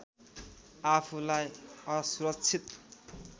आफूलाई असुरक्षित